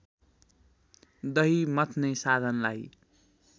दही मथ्ने साधनलाई